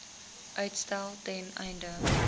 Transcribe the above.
uitstel ten einde